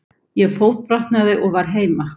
Ég fótbrotnaði og var heima.